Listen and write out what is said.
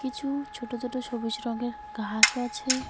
কিছু ছোট ছোট সবুজ রঙের ঘাসও আছে।